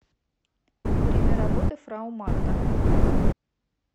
время работы фрау марта